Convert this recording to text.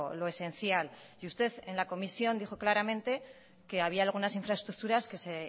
lo esencial y usted en la comisión dijo claramente que había algunas infraestructuras que se